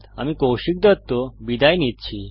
আমি কৌশিক দত্ত বিদায় নিচ্ছি